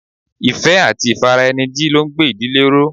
Ìfẹ́ àti ifaraeniji ló ń gbé ìdílé ró.